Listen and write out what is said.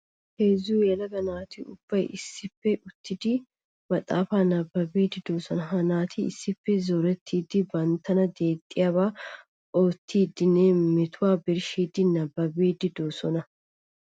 Heezzu yelaga naati ubbay issippe uttiddi maxafa nababbiddi de'osonna. Ha naati issippe zorettiddi banttanna deexxiyaba oottidinne metuwa birshshidde nababiddi de'osonna.